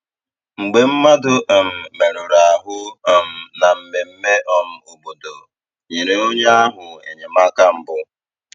Mgbe mmadụ um merụrụ ahụ um na mmemme um obodo, nyere onye ahụ enyemaka mbụ.